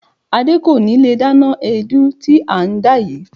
Adé kò ní lè dáná èédú tí à ń dá yìí.